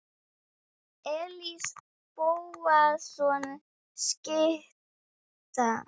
Elías Bóasson skytta.